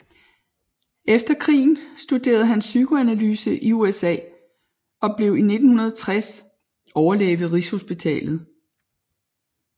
Efter krigen studerede han psykoanalyse i USA og blev i 1960 overlæge ved Rigshospitalet